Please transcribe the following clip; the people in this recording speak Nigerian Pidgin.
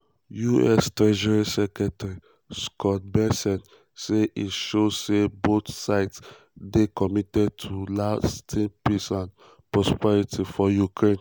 us treasury secretary um scott bessent say e show say both sides dey um committed to lasting peace and prosperity for ukraine.